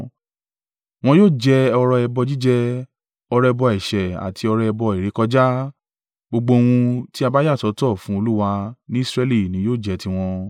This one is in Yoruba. Wọn yóò jẹ ọrẹ ẹbọ jíjẹ, ọrẹ ẹbọ ẹ̀ṣẹ̀ àti ọrẹ ẹbọ ìrékọjá; gbogbo ohun tí a bá yà sọ́tọ̀ fún Olúwa ni Israẹli ni yóò jẹ́ tiwọn.